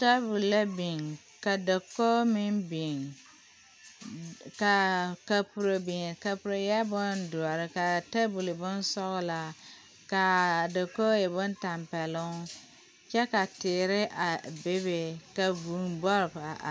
Tabol la biŋ ka dakoge meŋ biŋ ka a kapuro eɛɛ boŋdoɔre ka tabol e boŋ sɔglaa kaa dakoge e boŋ tampɛloŋ kyɛ ka teere a bebe ka vuu bɔpo a are.